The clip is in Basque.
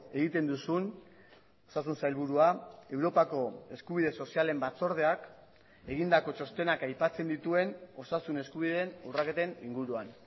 egiten duzun osasun sailburua europako eskubide sozialen batzordeak egindako txostenak aipatzen dituen osasun eskubideen urraketen inguruan